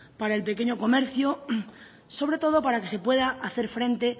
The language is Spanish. para el pequeño comercio sobre todo para que se pueda hacer frente